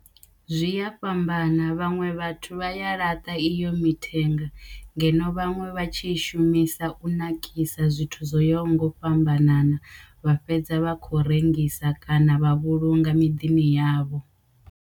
Zwi ya fhambana vhaṅwe vhathu vha ya laṱa iyo mithenga ngeno vhaṅwe vha tshi i shumisa u nakisa zwithu zwo yaho nga u fhambanana vha fhedza vha khou rengisa kana vha vhulunga miḓini yavho.